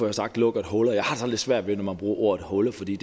har sagt lukker huller jeg har sådan lidt svært ved at man bruger ordet huller fordi